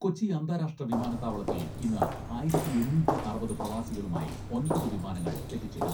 കൊച്ചി അന്താരാഷ്ട്ര വിമാനത്താവളത്തിൽ ഇന്ന് ആയിരത്തി എണ്ണൂറ്റി അറുപത് പ്രവാസികളുമായി ഒമ്പത് വിമാനങ്ങൾ എത്തിച്ചേരും.